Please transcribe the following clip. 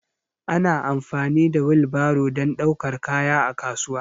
Ana amfani da wil baro dan daukar kaya a kasuwa